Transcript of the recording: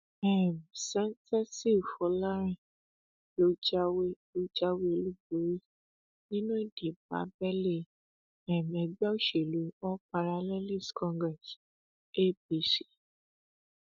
um sèǹtẹsíl fọlárin ló jáwé ló jáwé olúborí nínú ìdìbò abẹlé um ègbé òsèlú all parallelives congress apc